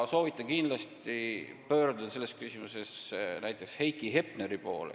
Soovitan selles küsimuses kindlasti pöörduda näiteks Heiki Hepneri poole.